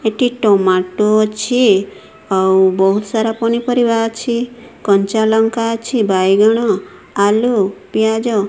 ଏଠି ଟମାଟୋ ଅଛି ଆଉ ବହୁତ ସାର ପନିପରିବାର ଅଛି କଞ୍ଚା ଲଙ୍କା ଅଛି ବାଇଗଣ ଆଲୁ ପିଆଜ --